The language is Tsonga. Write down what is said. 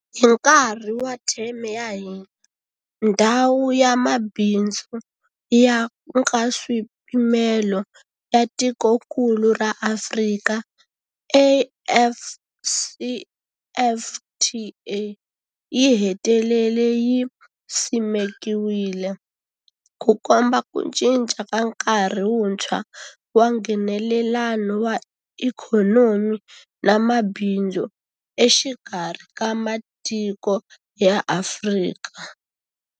Hi nkarhi wa theme ya hina, Ndhawu ya Mabindzu ya Nkaswipimelo ya Tikokulu ra Afrika, AfCFTA yi hetelele yi simekiwile, Ku komba ku cinca ka nkarhi wuntshwa wa Nghenelelano wa ikhonomi na mabindzu exikarhi ka matiko ya Afrika.